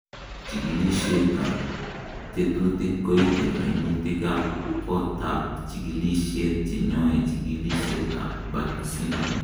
Chikilisietab tekutik koite koinutikab kotab chikilisiet cheyoe chekilisietab Bartter syndrome.